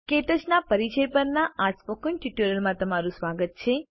ક્ટચ ના પરિચય પરના સ્પોકન ટ્યુટોરીયલમાં તમારું સ્વાગત છે